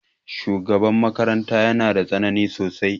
Shugaban makaranta ya na da tsanani sosai.